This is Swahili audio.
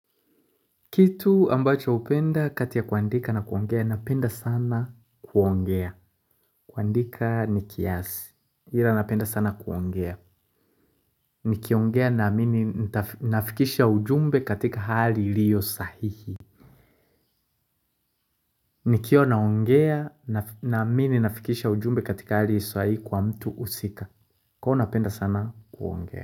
Kitu ambacho hupenda kati ya kuandika na kuongea, napenda sana kuongea. Kuandika ni kiasi. Ila napenda sana kuongea. Nikiongea naamini nafikisha ujumbe katika hali iliyo sahihi. Nikiwa naongea naamini nafikisha ujumbe katika hali sahihi kwa mtu husika. Kuwa napenda sana kuongea.